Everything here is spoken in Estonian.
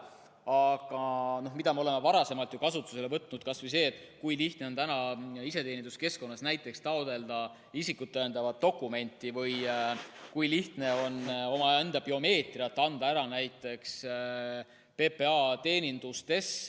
Aga me oleme varasemalt ju kasutusele võtnud kas või selle, et lihtne on näiteks iseteeninduskeskkonnas taotleda isikut tõendavat dokumenti või omaenda biomeetrilisi andmeid esitada PPA teenindustes.